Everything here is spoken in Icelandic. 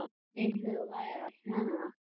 Engum væri um að kenna.